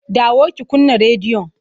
Dawo ki kunna rediyon!